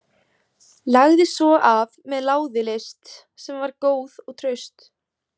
Lagði svo af með láði list sem var góð og traust.